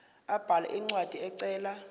abhale incwadi ecela